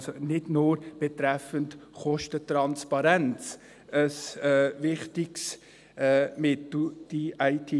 Also ist diese IT-Lösung nicht nur betreffend Kostentransparenz ein wichtiges Mittel.